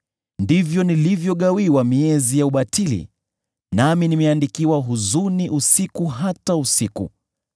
ndivyo nilivyogawiwa miezi ya ubatili, nami nimeandikiwa huzuni usiku hata usiku.